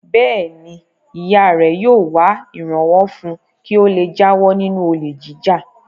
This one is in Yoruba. Bẹ́ẹ̀ ni, ìyá rẹ̀ yóò wá ìrànwọ́ fún un kí ó le jáwọ́ nínú olè jíjà.